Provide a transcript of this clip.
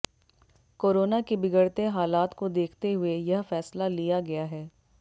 corona के बिगड़ते हालात को देखते हुए यह फैसला लिया गया है